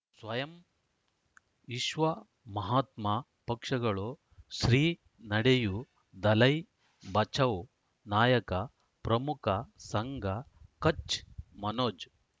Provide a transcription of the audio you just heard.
ಸ್ವಯಂ ವಿಶ್ವ ಮಹಾತ್ಮ ಪಕ್ಷಗಳು ಶ್ರೀ ನಡೆಯೂ ದಲೈ ಬಚೌ ನಾಯಕ ಪ್ರಮುಖ ಸಂಘ ಕಚ್ ಮನೋಜ್